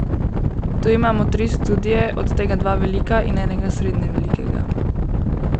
Tu imamo tri studie, od tega dva velika in enega srednje velikega.